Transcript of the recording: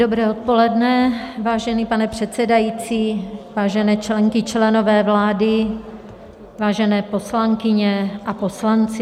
Dobré odpoledne, vážený pane předsedající, vážené členky, členové vlády, vážené poslankyně a poslanci.